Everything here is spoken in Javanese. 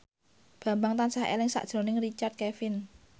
Bambang tansah eling sakjroning Richard Kevin